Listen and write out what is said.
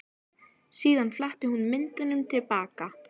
Síðan fletti hún myndunum til baka.